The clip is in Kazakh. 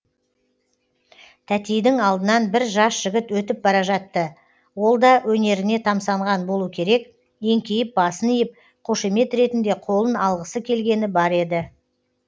тәтейдің алдынан бір жас жігіт өтіп бара жатты олда өнеріне тамсанған болу керек еңкейіп басын иіп қошемет ретінде қолын алғысы келгені бар еді